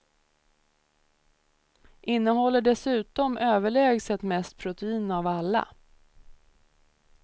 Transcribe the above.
Innehåller dessutom överlägset mest protein av alla.